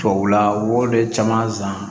Tubabula wo de caman san